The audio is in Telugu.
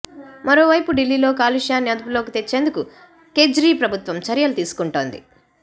మరోవైపు ఢిల్లీలో కాలుష్యాన్ని అదుపులోకి తెచ్చేందుకు కేజ్రీ ప్రభుత్వం చర్యలు తీసుకొంటోంది